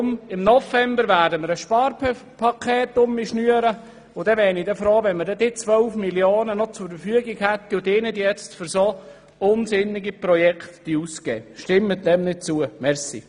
Im November werden wir ein Sparpaket schnüren, und dann wäre ich froh, wenn wir diese 12 Mio. Franken noch zur Verfügung hätten und sie nicht jetzt für solch unsinnige Projekte ausgeben würden.